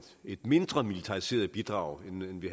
et mindre militariseret bidrag